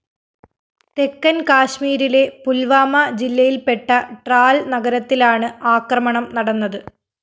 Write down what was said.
തെക്കന്‍ കാശ്മീരിലെ പുല്‍വാമ ജില്ലയില്‍പ്പെട്ട ട്രാല്‍ നഗരത്തിലാണ് ആക്രമണം നടന്നത്